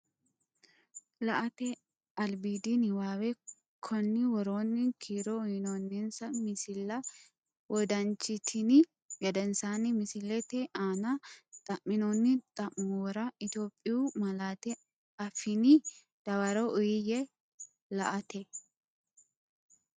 La”ate albiidi niwaawe Konni woroonni kiiro uyinoonninsa misilla wodanchitini gedensaanni misillate aanne xa’minoonni xa’muwara Itophiyu malaatu afiinni dawaro uuyye La”ate.